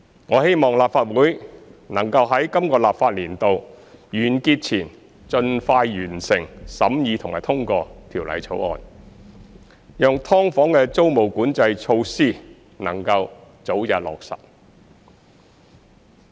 我希望立法會能在今個立法年度完結前盡快完成審議及通過《條例草案》，讓"劏房"的租務管制措施能夠早日落實。